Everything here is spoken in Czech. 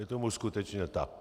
Je tomu skutečně tak.